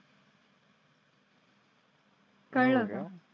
कळलं का?